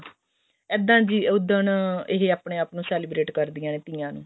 ਇੱਦਾਂ ਜੀ ਉੱਦਣ ਇਹ ਆਪਣੇ ਆਪ ਨੂੰ celebrate ਕਰਦਿਆਂ ਨੇ ਤੀਆਂ ਨੂੰ